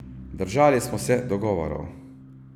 Držali smo se dogovorov.